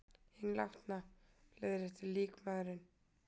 Hinn látna. leiðréttir líkmaðurinn.